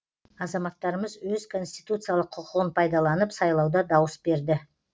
азаматтарымыз өз конституциялық құқығын пайдаланып сайлауда дауыс берді